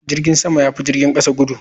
Jirgin sama ya fi jirgin kasa gudu.